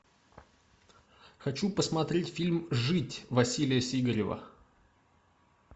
хочу посмотреть фильм жить василия сигарева